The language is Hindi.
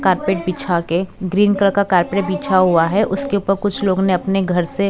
कारपेट बिछा के ग्रीन कलर का कारपेट बिछा हुआ है उसके ऊपर कुछ लोगों ने अपने घर से--